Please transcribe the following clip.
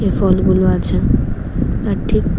ওই ফলগুলো আছে তার ঠিক--